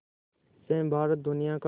से भारत दुनिया का